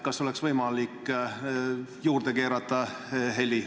Kas oleks võimalik heli juurde keerata?